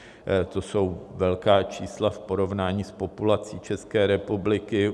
To jsou velká čísla v porovnání s populací České republiky.